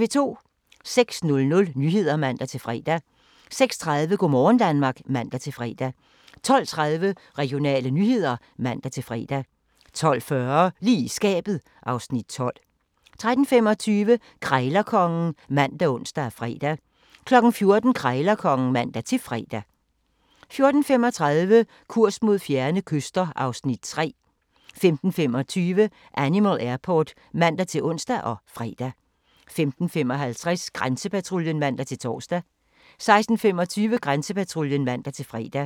06:00: Nyhederne (man-fre) 06:30: Go' morgen Danmark (man-fre) 12:30: Regionale nyheder (man-fre) 12:40: Lige i skabet (Afs. 12) 13:25: Krejlerkongen ( man, ons, fre) 14:00: Krejlerkongen (man-fre) 14:35: Kurs mod fjerne kyster (Afs. 3) 15:25: Animal Airport (man-ons og fre) 15:55: Grænsepatruljen (man-tor) 16:25: Grænsepatruljen (man-fre)